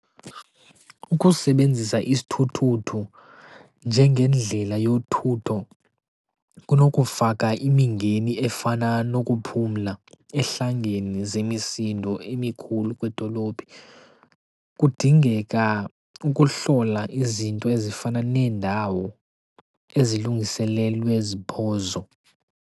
Ukusebenzisa isithuthuthu njengendlela yothutho kunokufaka imingeni efana nokuphumla ehlangene zemisindo emikhulu kwidolophi. Kudingeka ukuhlola izinto ezifana neendawo ezilungiselelwe ziphozo.